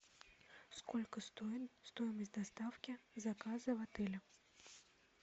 сколько стоит стоимость доставки заказа в отеле